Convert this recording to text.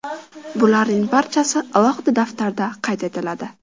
Bularning barchasi alohida daftarda qayd etiladi.